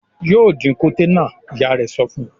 "Yóò dín koté náà!" Ìyá rẹ̀ sọ fún un.